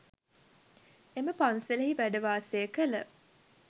එම පන්සලෙහි වැඩ වාසය කළ